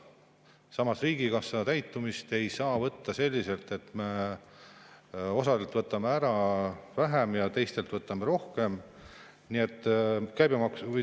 Samas, riigikassa täitumist ei saa võtta selliselt, et me osadelt võtame ära vähem ja teistelt võtame rohkem.